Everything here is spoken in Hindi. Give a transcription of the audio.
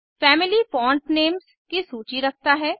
फैमिली फॉण्ट नेम्स की सूची रखता है